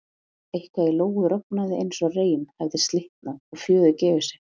Eitthvað í Lóu rofnaði eins og reim hefði slitnað eða fjöður gefið sig.